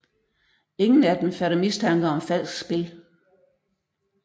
Ingen af dem fatter mistanke om falsk spil